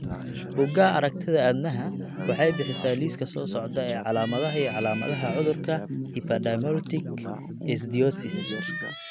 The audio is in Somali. Bugaa aragtida aDdanaha waxay bixisaa liiska soo socda ee calaamadaha iyo calaamadaha cudurka Epidermolytic ichthyosis.